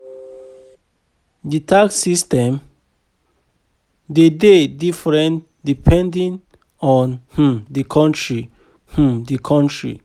Di tax system de dey different depending on um di country um di country